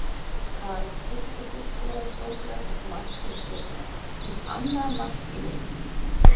Karen Sturludóttir skorar stórglæsilegt mark fyrir Stjörnuna, sitt annað mark í leiknum!